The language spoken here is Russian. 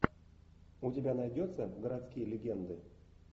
у тебя найдется городские легенды